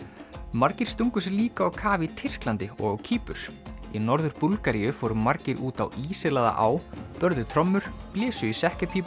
margir stungu sér líka á kaf í Tyrklandi og á Kýpur í Norður Búlgaríu fóru margir út á á börðu trommur blésu í